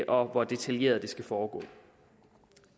om hvor detaljeret det skal foregå